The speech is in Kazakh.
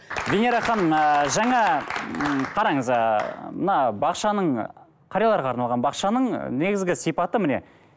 венера ханым ыыы жаңа м қараңыз ыыы мына бақшаның қарияларға арналған бақшаның негізгі сипаты міне